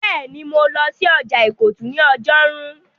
Bẹ́ẹ̀ni, mo lọ sí ọjà ìkọ̀tún ní ọjọ́rú